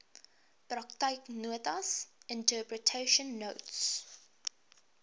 praktyknotas interpretation notes